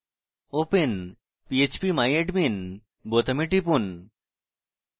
open phpmyadmin বোতামে টিপুন